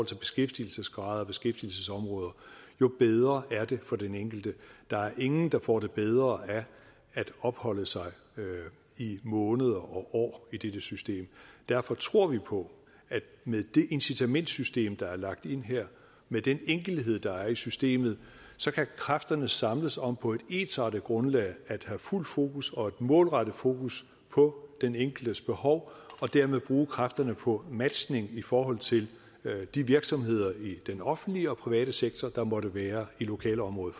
til beskæftigelsesgrad og beskæftigelsesområder jo bedre er det for den enkelte der er ingen der får det bedre af at opholde sig i måneder og år i dette system derfor tror vi på at med det incitamentssystem der er lagt ind her med den enkelhed der er i systemet så kan kræfterne samles om på et ensartet grundlag at have fuldt fokus og et målrettet fokus på den enkeltes behov og dermed bruge kræfterne på matchning i forhold til de virksomheder i den offentlige og den private sektor der måtte være i lokalområdet